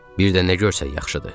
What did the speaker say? Bir də nə görsək yaxşıdır?